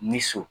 Ni so